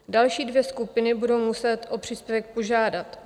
Další dvě skupiny budou muset o příspěvek požádat.